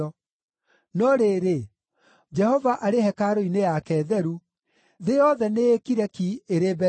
No rĩrĩ, Jehova arĩ hekarũ-inĩ yake theru; thĩ yothe nĩĩkire ki ĩrĩ mbere yake.”